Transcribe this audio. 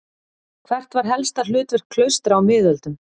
Hvert var helsta hlutverk klaustra á miðöldum?